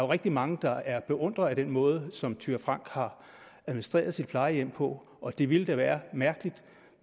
rigtig mange der er beundrere af den måde som fru thyra frank har administreret sit plejehjem på og det ville da være mærkeligt